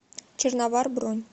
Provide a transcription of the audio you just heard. черновар бронь